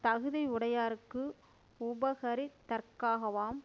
தகுதி யுடையார்க்கு உபகரித் தற்காகவாம்